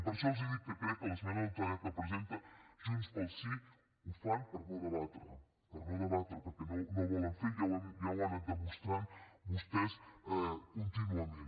per això els dic que crec que l’esmena a la totalitat que presenta junts pel sí ho fan per no debatre per no debatre perquè no ho volen fer ja ho han anat demostrant vostès contínuament